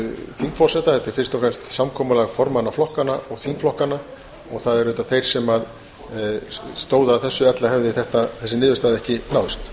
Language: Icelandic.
þingforseta þetta er fyrst og fremst samkomulag formanna flokkanna og þingflokkanna og það eru þeir sem stóðu að þessu ella hefði þessi niðurstaða ekki náðst